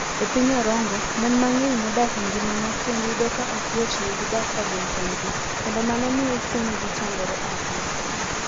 E piny Orongo, mon mang'eny modak e ngima mar kend yudo ka ok yotnegi dak ka gin kendgi, kendo mano miyo chunygi chandore ahinya.